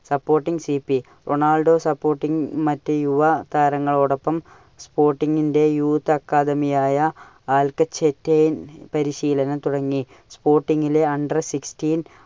supporting Ronaldo supporting മറ്റു യുവ താരങ്ങളോടൊപ്പം sporting ന്റെ youth academy ആയ അല്കചേട്ടെയ്ൻ പരിശീലനം തുടങ്ങി. sporting ലെ under sixteen